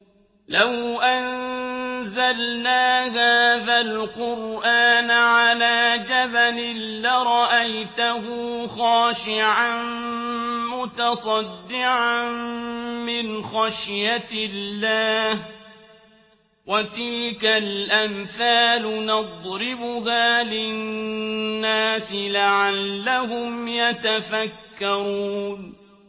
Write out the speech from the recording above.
لَوْ أَنزَلْنَا هَٰذَا الْقُرْآنَ عَلَىٰ جَبَلٍ لَّرَأَيْتَهُ خَاشِعًا مُّتَصَدِّعًا مِّنْ خَشْيَةِ اللَّهِ ۚ وَتِلْكَ الْأَمْثَالُ نَضْرِبُهَا لِلنَّاسِ لَعَلَّهُمْ يَتَفَكَّرُونَ